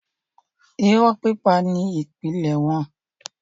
irọ́ pípa ni ìpìlẹ̀ wọn.